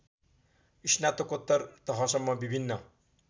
स्नातकोत्तर तहसम्म विभिन्न